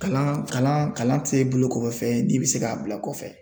Kalan kalan tɛ bolo kɔfɛ fɛn ye n'i bɛ se k'a bila .